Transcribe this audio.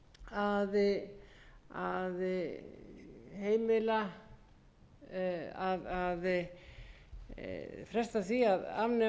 hvers vegna í ósköpunum sé verið að fresta því enn og aftur að